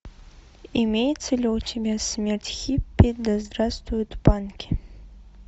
имеется ли у тебя смерть хиппи да здравствуют панки